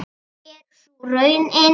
En er sú raunin?